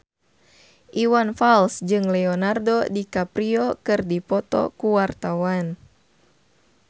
Iwan Fals jeung Leonardo DiCaprio keur dipoto ku wartawan